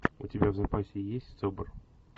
у тебя в запасе есть собр